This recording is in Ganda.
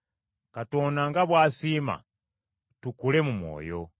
Katonda nga bw’asiima, tukule mu mwoyo.